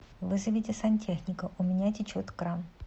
вызовите сантехника у меня течет кран